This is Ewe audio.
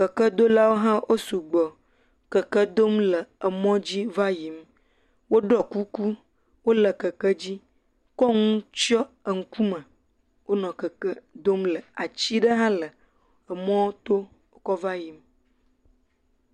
Kekedolawo hã wo sugbɔ, keke dom le emɔ dzi va yiyim, woɖɔ kuku, wole keke dzi, kɔ nu tsyɔ ŋkume, wonɔ keke dom le, ati ɖe hã le emɔɔ to, wokɔ va yiyim.